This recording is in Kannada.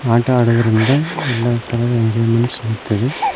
ಆಟ ಆಡುವುದರಿಂದ ಎಲ್ಲಾ ತರಹದ ಎಂಜಾಯ್ಮೆಂಟ್ ಸಿಗುತ್ತದೆ.